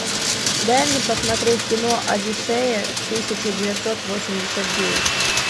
дай мне посмотреть кино одиссея тысяча девятьсот восемьдесят девять